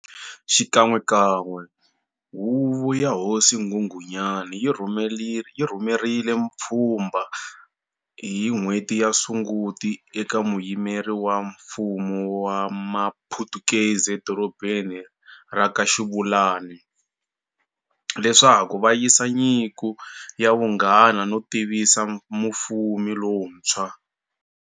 Xikan'wekan'we huvo ya hosi nghunghunyani yi rhumerile pfhumba hi n'hweti ya Sunguti e ka muyimeri wa mfumo wa ma phutukezi e dorobeni ra ka Xiluvani, leswaku va yisa nyiko ya vunghana no tivisa mufumi lontshwa.